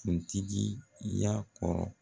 Kuntigiya kɔrɔ